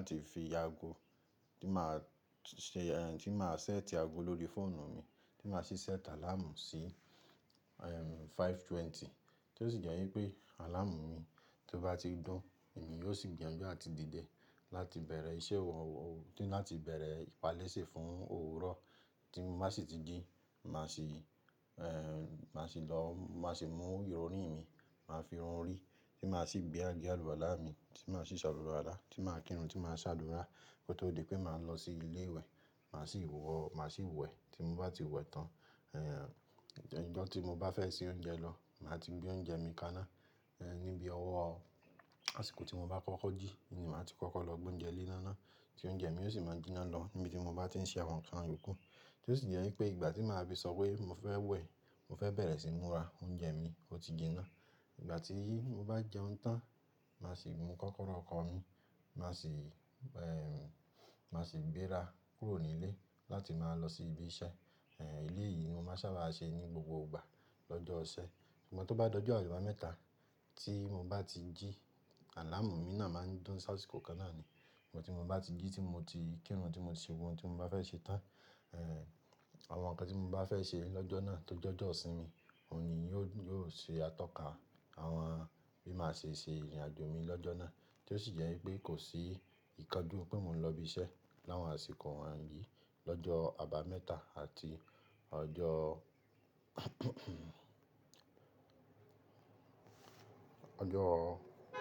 láti fi ago tí màá ṣe, ẹ́ tí màá ṣẹ́tì ago lórí fóònù mi, tí màá sì ṣẹ́tà àláàmù sí ẹ́ 5:20. Tí ó sì jẹ́ wípé àláàmù mi tí ó bá ti dún, òun ni yóò sì gbìyànjú àti dìde láti bẹ̀rẹ̀ iṣẹ́ òwò tí máa ti bẹ̀rẹ̀ ìpalẹ́ṣẹ fún òwúrọ̀. Tí mo bá sì ti jí, màá sì ẹ́, màá sì lọ, màá sì mú irorin rí mi, màá fi irun orí, tí màá sì gbé àgé àlùwalá mi, tí màá sì salu wàlá, tí màá kírun, tí màá ṣàdúrà kó tó di pé màá lọ sí ilé ìwẹ̀, màá sì wọ̀, màá sì wẹ̀. Tí mo bá ti wẹ̀ tán, ẹ́ ìjo tí mo bá fẹ́ se oúnjẹ lọ, màá ti gbé oúnjẹ mi kaná ẹ́ níbi ọwọ́. Asiko ti mo ba kọkọ ji ni maa ti koko lo gbe ounjẹ le na ti ounjẹ mi osi maa n jina lọ níbi tí mo ba ti n ṣe awọn nkan iyoku. Tí ó sì jẹ́ pé ìgbà tí màá bá sọ pé mo fẹ́ wẹ̀, mo fẹ́ bẹ̀rẹ̀ síí múra oúnjẹ mi ó ti jinná. Ìgbà tí yìí mo bá jẹun tán, màá sì mu kọ́kọ́rọ́ ọkọ̀ mi, màá sì ẹ́, màá sì gbéra kúrò nílé láti máa lọ sí ibi iṣẹ́. Ẹ̀ ilé yìí ni mo máa ń sábà ṣe ní gbogbo ìgbà lọ́jọ́ isẹ́. Ìmọ̀ tí ó bá dọjú àìwà mẹ́ta tí mo bá ti jí, àláàmù mi náà máa ń dún sáà àsìkò kan náà ni. Ìmọ̀ tí mo bá ti jí tí mo ti kírun, tí mo ti ṣe ohun tí mo bá fẹ́ ṣe tán. Ẹ̀ àwọn nǹkan tí mo bá fẹ́ ṣe lọ́jọ́ náà tó jọ́jọ́ sí mi, òun ni yóò, yóò ṣe atọ́ka àwọn bí màá ṣe ṣe ìrìnàjò mi lọ́jọ́ náà. Tí ó sì jẹ́ pé kò sí ìkánjú pé mo ń lọ ibi iṣẹ́ láwọn àsìkò wáńrí lọ́jọ́ àbámẹ́ta àti ọjọ́ ọjọ́